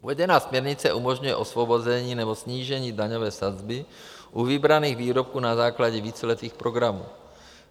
Uvedená směrnice umožňuje osvobození nebo snížení daňové sazby u vybraných výrobků na základě víceletých programů.